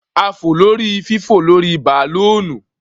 A fò lórí fífò-lórí-bàlóònù